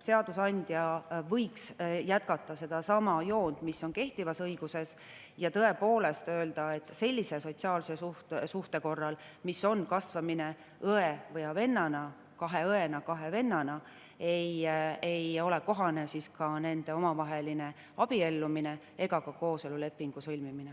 seadusandja võiks jätkata sedasama joont, mis on kehtivas õiguses, ja öelda, et sellise sotsiaalse suhte korral, nagu on kasvamine õe ja vennana, kahe õena või kahe vennana, ei ole kohane omavahel abielluda ega ka kooselulepingut sõlmida.